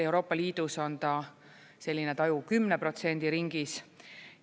Euroopa Liidus on selline taju 10% ringis.